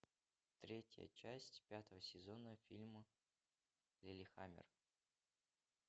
третья часть пятого сезона фильма лиллехаммер